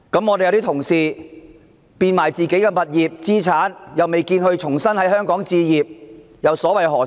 我們有些同事變賣自己的物業、資產，卻未見他們在香港重新置業，又所為何事？